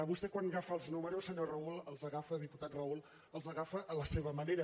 vostè quan agafa els números senyor raúl els agafa diputat raúl a la seva manera